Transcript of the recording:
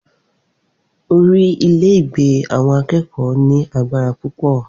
Orí ile-igbe awon akeko ní agbára púpọ̀.